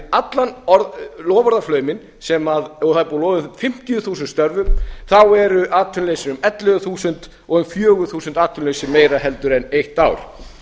allan loforðaflauminn og það er búið að lofa fimmtíu þúsund störfum þá er atvinnuleysi um ellefu þúsund og um fjögur þúsund atvinnulausir meira heldur en eitt ár